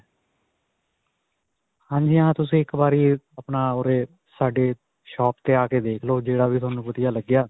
ਹਾਂਜੀ ਹਾਂ, ਤੁਸੀਂ ਇੱਕ ਵਾਰੀ ਆਪਣਾ ਓਰੇ ਸਾਡੀ shop 'ਤੇ ਆ ਕੇ ਵੇਖ ਲੋ, ਜਿਹੜਾ ਵੀ ਤੁਹਾਨੂੰ ਵਧੀਆ ਲਗਿਆ.